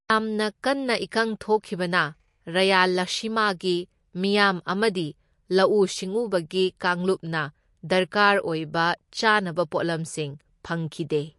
ꯌꯥꯝꯅ ꯀꯟꯅ ꯏꯀꯪ ꯊꯣꯛꯈꯤꯕꯅ, ꯔꯌꯥꯂꯁꯤꯃꯥꯒꯤ ꯃꯤꯌꯥꯝ ꯑꯃꯗꯤ ꯂꯧꯎ ꯁꯤꯡꯎꯕꯒꯤ ꯀꯥꯡꯂꯨꯞꯅ ꯗꯔꯀꯥꯔ ꯑꯣꯢꯕ ꯆꯥꯅꯕ ꯄꯣꯠꯂꯝꯁꯤꯡ ꯐꯪꯈꯤꯗꯦ꯫